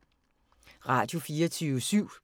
Radio24syv